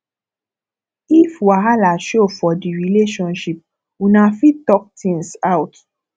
if wahala show for di relationship una fit talk things out